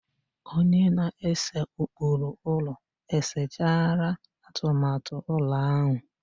Onye na-ese ụkpụrụ ụlọ e sechaala atụmatụ ụlọ ahụ.